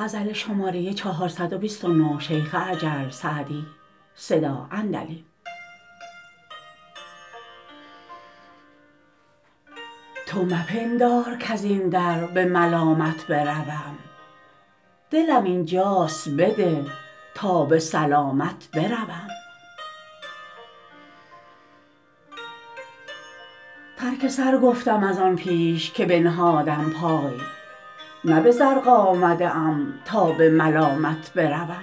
تو مپندار کز این در به ملامت بروم دلم اینجاست بده تا به سلامت بروم ترک سر گفتم از آن پیش که بنهادم پای نه به زرق آمده ام تا به ملامت بروم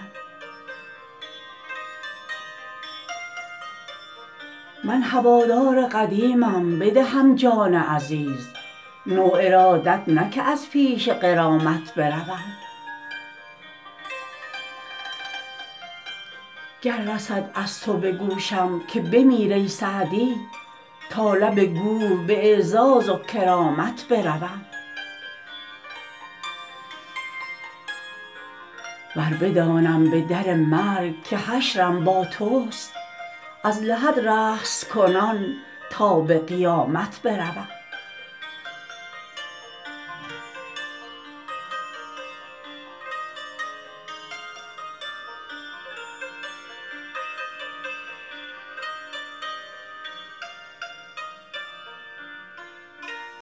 من هوادار قدیمم بدهم جان عزیز نو ارادت نه که از پیش غرامت بروم گر رسد از تو به گوشم که بمیر ای سعدی تا لب گور به اعزاز و کرامت بروم ور بدانم به در مرگ که حشرم با توست از لحد رقص کنان تا به قیامت بروم